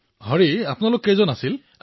প্ৰধানমন্ত্ৰীঃ আপোনালোক কেইজন আছিল হৰি